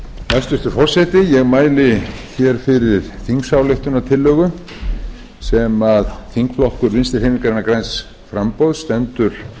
hæstvirtur forseti ég mæli hér fyrir þingsályktunartillögu sem þingflokkur vinstri hreyfingarinnar græns framboðs stendur